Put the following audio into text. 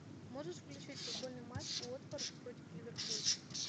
можешь включить футбольный матч уотфорд против ливерпуль